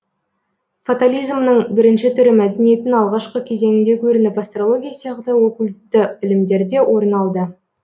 фатализмның бірінші түрі мәдениеттің алғашқы кезеңінде көрініп астрология сияқты окультті ілімдерде орын алды